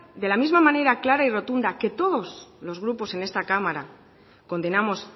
de la misma manera clara y rotunda que todos los grupos en esta cámara condenamos